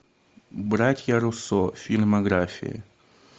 братья руссо фильмография